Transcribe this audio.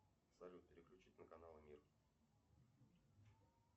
салют переключить на канал мир